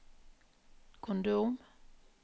kondom